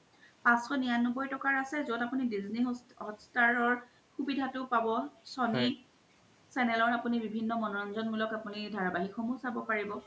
পাঁচশ নিৰান্নবৈ আছে জত আপুনি disney hotstar ৰ শুবিধা তু পব sony channel বিভিন্ন মনোৰঞ্জন মুলক আপুনি ধাৰাবাহিকও সমুহ চাব পাৰিব